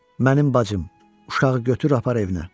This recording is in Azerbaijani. Mənim bacım, uşağı götür apar evinə.